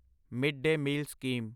mid day meal scheme